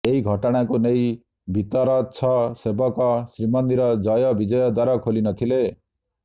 ଏହି ଘଟଣାକୁ ନେଇ ଭିତରଚ୍ଛ ସେବକ ଶ୍ରୀମନ୍ଦିର ଜୟ ବିଜୟ ଦ୍ବାର ଖୋଲିନଥିଲେ